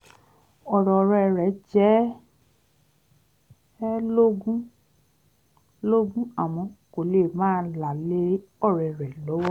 ọ̀rọ̀ ọ̀rẹ́ rẹ̀ jẹ ẹ́ lógún lógún àmọ́ kò fẹ́ máa là lé ọ̀rẹ́ rẹ̀ lọ́wọ́